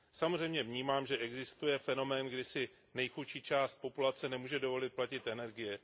Samozřejmě vnímám, že existuje fenomén, kdy si nejchudší část populace nemůže dovolit platit energie.